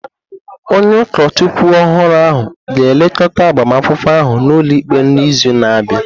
Onye ụkọchukwu ọhụrụ ahụ ga-elekọta agbamakwụkwọ ahụ n’ụlọikpe n’izu na-abịa.